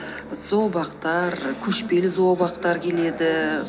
зообақтар көшпелі зообақтар келеді